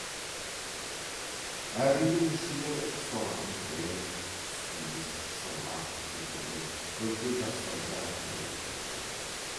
әр үйдің ішіне ұсталатын кілем тұскиіз сырмақ текемет көрпе жастығы да бірге жіберілді